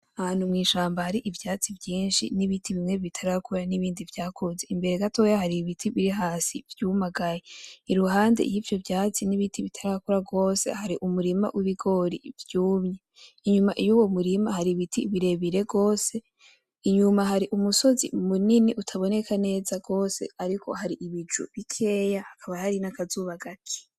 Ahantu mw'ishamba hari ivyatsi vyinshi n'ibiti bimwe bitarakura n'ibindi vyakuze, imbere gatoya hari ibiti biri hasi vyumagaye, iruhande y'ivyo vyatsi n'ibiti bitarakura gose hari umurima w'ibigori vyumye, inyuma yuwo murima hari ibiti birebire gose, inyuma hari umusozi munini utaboneka neza gose ariko hari ibicu bikeya; hakaba hari n'akazuba gake.